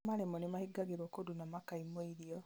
arĩa maremwo nĩmahingagĩrwo kũndũ na makaimwo irio